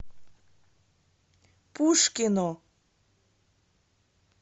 пушкино